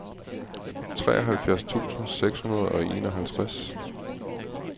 treoghalvfjerds tusind seks hundrede og enoghalvtreds